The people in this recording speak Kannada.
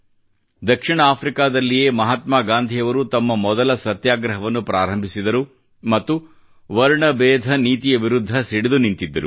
ದಕ್ಷಿಣ ಆಫ್ರಿಕಾದಲ್ಲಿಯೇ ಮಹಾತ್ಮಾ ಗಾಂಧಿಯವರು ತಮ್ಮ ಮೊದಲ ಸತ್ಯಾಗ್ರಹವನ್ನು ಪ್ರಾರಂಭಿಸಿದರು ಮತ್ತು ವರ್ಣಬೇಧ ನೀತಿಯ ವಿರುದ್ಧ ಸಿಡಿದು ನಿಂತಿದ್ದರು